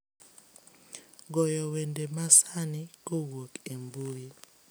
goyo wende masani kowuok e mbui